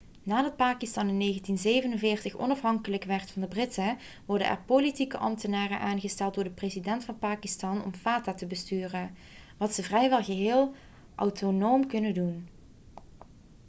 nadat pakistan in 1947 onafhankelijk werd van de britten worden er politieke ambtenaren' aangesteld door de president van pakistan om fata te besturen wat ze vrijwel geheel autonoom kunnen doen